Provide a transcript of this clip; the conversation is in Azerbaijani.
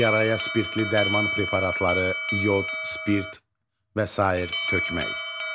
Yaraya spirtli dərman preparatları, yod, spirt və sair tökmək.